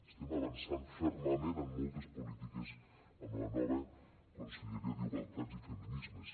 estem avançant fermament en moltes polítiques amb la nova conselleria d’igualtat i feminismes